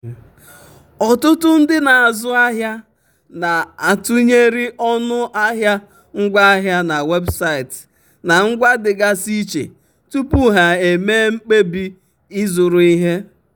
ọtụtụ ndị um na-azụ ahịa na-atụnyere ọnụ ahịa ngwaahịa na webụsaịtị na ngwa dịgasị iche tupu ha eme mkpebi ịzụrụ ihe.